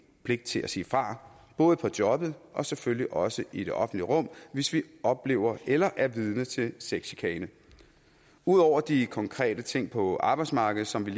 pligt til at sige fra både på jobbet og selvfølgelig også i det offentlige rum hvis vi oplever eller er vidne til sexchikane ud over de konkrete ting på arbejdsmarkedet som vi